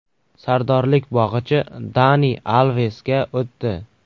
Sardorlik bog‘ichi Dani Alvesga o‘tdi.